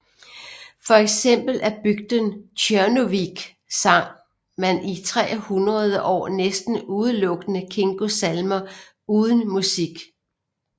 For eksempel i bygden Tjørnuvík sang man i tre hundrede år næsten udelukkende Kingos salmer uden musik